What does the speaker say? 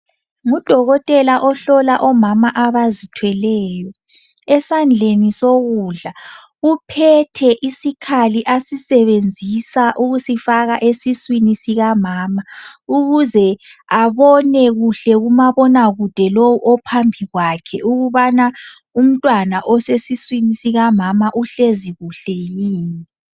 Ngudokotela ohlola omama abazithweleyo. Esandleni sokudla uphethe isikhali asisebenzisa ukusifaka esiswini sikamama, ukuze abone kuhle kumabonakude lowu ophambi kwakhe, ukubana umntwana osesiswini sikamama uhlezi kuhle yini.